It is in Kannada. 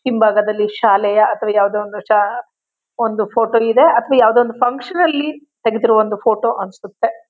ಹಿಂಭಾಗದಲ್ಲಿ ಶಾಲೆಯ ಅಥವಾ ಯಾವ್ದು ಒಂದು ಷ ಒಂದು ಫೋಟೋ ಇದೆ ಅಥವಾ ಯಾವ್ದೋ ಒಂದ್ ಫನ್ಕ್ಷನ್ ಅಲ್ಲಿ ತಗದಿರೋ ಒಂದು ಫೋಟೋ ಅನ್ಸುತ್ತೆ.